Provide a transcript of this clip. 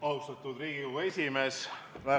Austatud Riigikogu esimees!